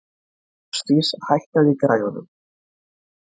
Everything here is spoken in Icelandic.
Ásdís, hækkaðu í græjunum.